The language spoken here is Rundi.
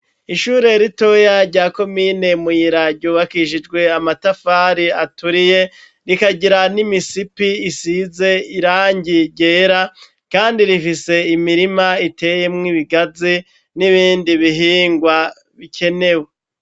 Ishure ritoya rya komine Muyira ryubakishijwe amatafari aturiye, rikagira n'imisipi isize irangi ryera, kandi rifise imirima iteyemwo ibigazi n'ibindi bihingwa bikenewe.